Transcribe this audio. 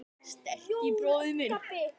Sterki bróðir minn.